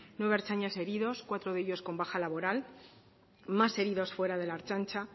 nueve ertzainas heridos cuatro de ellos con baja laboral más heridos fuera de la ertzaintza